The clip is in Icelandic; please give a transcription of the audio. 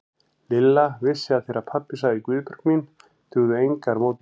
Lilla vissi að þegar pabbi sagði Guðbjörg mín dugðu engar mótbárur.